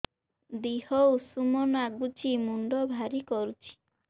ଦିହ ଉଷୁମ ନାଗୁଚି ମୁଣ୍ଡ ଭାରି କରୁଚି